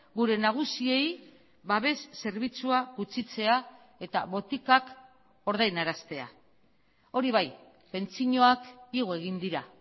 gure nagusiei babes zerbitzua gutxitzea eta botikak ordainaraztea hori bai pentsioak igo egin dira